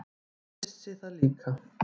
Ég vissi það líka.